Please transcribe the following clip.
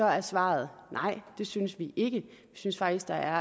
er svaret nej det synes vi ikke vi synes faktisk der